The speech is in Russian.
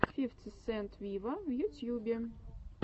фифти сент виво в ютьюбе